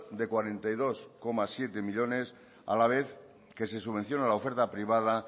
de cuarenta y dos coma siete millónes a la vez que se subvencionan la oferta privada